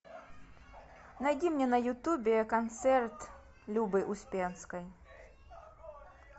найди мне на ютубе концерт любы успенской